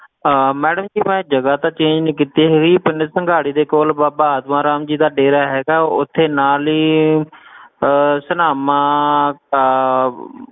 ਆਹ madam ਜੀ ਮੈਂ ਜਗਾ ਤਾਂ change ਨੀ ਕੀਤੀ ਹੈਗੀ ਪਿੰਡ ਸੰਘਾੜੇ ਦੇ ਕੋਲ ਬਾਬਾ ਆਤਮਾ ਰਾਮ ਜੀ ਦਾ ਡੇਰਾ ਹੈਗਾ ਉਥੇ ਨਾਲ ਹੀ ਅਹ ਸਨਾਮਾ ਅਹ